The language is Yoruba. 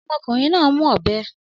Ọmọkùnrin náà ń mú ọ̀bẹ